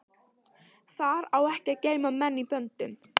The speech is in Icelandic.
Þar á ekki að geyma menn í böndum.